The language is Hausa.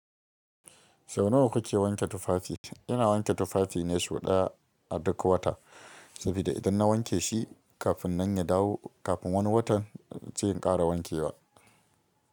Sau nawa kuke wanke tufafi? Ina wanke tufafi ne sau ɗaya a duk wata, saboda idan na wanke shi kafin nan ya dawo kafin wani watan, sai in ƙara wankewa.